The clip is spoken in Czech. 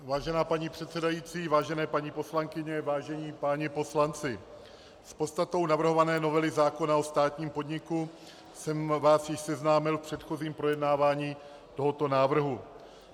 Vážená paní předsedající, vážené paní poslankyně, vážení páni poslanci, s podstatou navrhované novely zákona o státním podniku jsem vás již seznámil v předchozím projednávání tohoto návrhu.